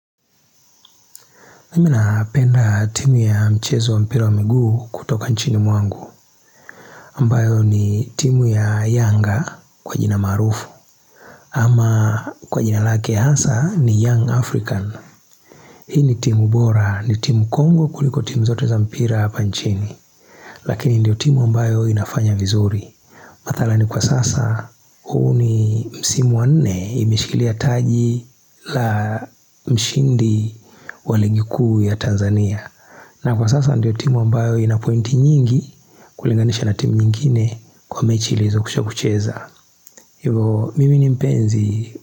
Mimi napenda timu ya mchezo wa mpira wa miguu kutoka nchini mwangu ambayo ni timu ya yanga kwa jina maarufu ama kwa jina lake ya hasa ni young african Hii ni timu bora ni timu kongwe kuliko timu zote za mpira hapa nchini Lakini ndio timu ambayo inafanya vizuri madhara ni kwa sasa huu ni msimu wa nne imeshikilia taji la mshindi wa ligi kuu ya Tanzania na kwa sasa ndiyo timu ambayo inapointi nyingi kulinganisha na timu nyingine kwa mechi ilizokwisha kucheza Hivo mimi ni mpenzi.